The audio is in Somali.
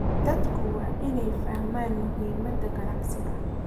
Dadku waa inay fahmaan muhiimada aqoonsiga.